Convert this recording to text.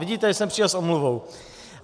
Vidíte, že jsem přišel s omluvou.